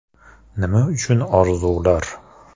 Nima uchun orzular?